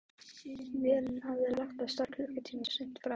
Vélin hafði lagt að stað klukkutíma of seint frá